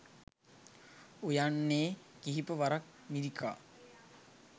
උයන්නේ කිහිප වරක් මිරිකා